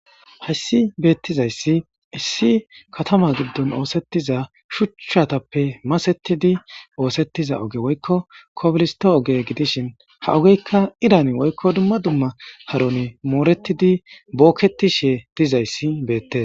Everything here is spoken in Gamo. Hayssi beettizayssi issi katama giddon oosettiza shuchchatappe masetidi oosettiza oge woykko kobilisto oge gidishin ha ogeykka irani woykko dumma dumma haroni mooretidi bookketishe dizayssi beette.